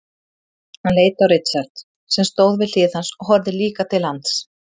Hann leit á Richard sem stóð við hlið hans og horfði líka til lands.